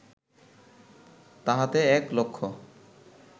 তাহাতে এক লক্ষ